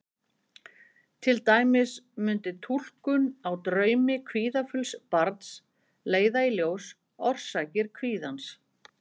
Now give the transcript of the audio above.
Til dæmis mundi túlkun á draumum kvíðafulls barns leiða í ljós orsakir kvíðans.